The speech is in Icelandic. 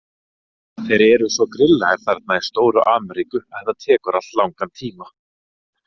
Þeir eru svo grillaðir þarna í stóru Ameríku að þetta tekur allt langan tíma.